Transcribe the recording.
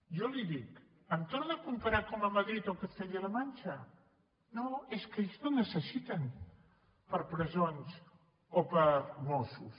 jo li ho dic em torna a comparar com a madrid o amb castella la manxa no és que ells no necessiten per a presons o per a mossos